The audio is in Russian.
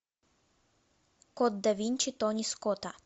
код да винчи тони скотта